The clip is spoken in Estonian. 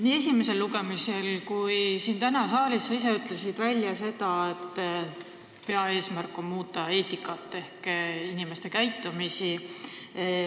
Nii esimesel lugemisel kui ka täna siin saalis sa ise ütlesid välja selle, et peaeesmärk on muuta eetikat ehk inimeste käitumist.